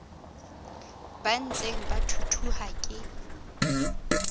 ba ntseng ba thuthuha ke